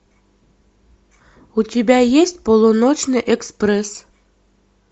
у тебя есть полуночный экспресс